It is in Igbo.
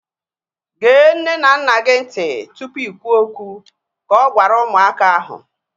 Gee nne na nna gị ntị tụpụ i kwuo okwu! Ka ọ gwara ụmụaka ahu